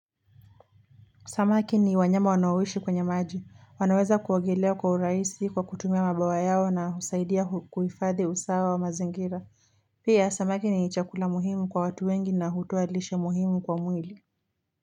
Samaki ni wanyama wanao ishi kwenye maji, wanaweza kuogelea kwa urahisi kwa kutumia mabawa yao na husaidia kuhifadhi usawa wa mazingira. Pia, samaki ni chakula muhimu kwa watu wengi na hutoa lishe muhimu kwa mwili.